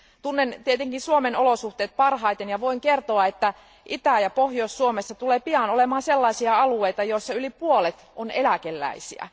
Tunnen tietenkin Suomen olosuhteet parhaiten ja voin kertoa, että Itä ja Pohjois Suomessa tulee pian olemaan sellaisia alueita, joissa yli puolet on eläkeläisiä.